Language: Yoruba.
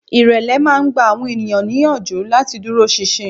Ìrẹ̀lẹ̀ máa ń gba àwọn èèyàn níyànjú láti dúró sinsin